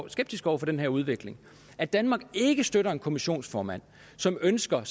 skeptisk over for den her udvikling at danmark ikke støtter en kommissionsformand som ønsker